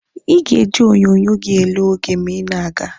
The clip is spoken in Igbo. Ị ga-eji onyonyo gi ele oge ma ị na-aga.